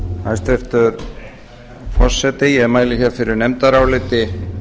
hæstvirtur forseti ég mæli fyrir nefndaráliti